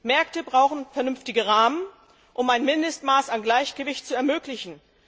Märkte brauchen vernünftige Rahmen, um ein Mindestmaß an Gleichgewicht zu ermöglichen.